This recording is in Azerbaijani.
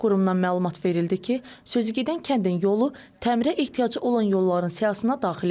Qurumdan məlumat verildi ki, sözügedən kəndin yolu təmirə ehtiyacı olan yolların siyahısına daxil edilib.